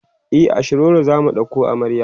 e a shiroro zamu ɗauko amarya